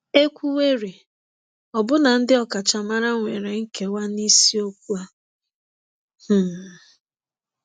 E kwuwerị, ọbụna ndị ọkachamara nwere nkewa n’isiokwu a. um